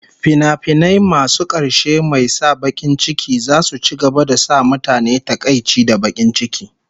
Tragic fims will continue to make people sad